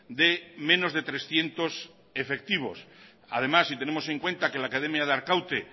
de menos de trescientos efectivos además si tenemos en cuenta que la academia de arkaute